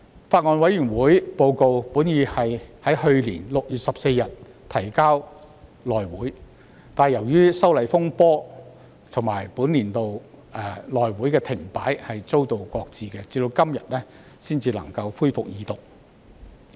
法案委員會報告原定於去年6月14日提交內會，但因修例風波及本年度內會停擺而遭到擱置，到了今天才恢復二讀。